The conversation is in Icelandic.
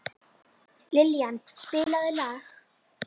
Liljan, spilaðu lag.